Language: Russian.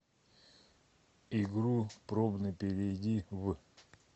игру пробный перейди в